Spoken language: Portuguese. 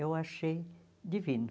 Eu achei divino.